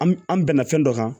An an bɛnna fɛn dɔ kan